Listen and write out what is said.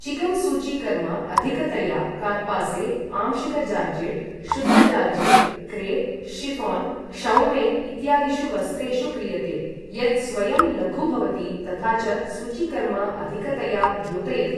Chicken सूचीकर्म अधिकतया कार्पासे, आंशिक जार्जेट्, शुद्ध जार्जेट्, क्रेप्, शिऴान्, क्षौमे इत्यादिषु वस्त्रेषु क्रियते, यत् स्वयं लघु भवति तथा च सूचीकर्म अधिकतया द्योतयति।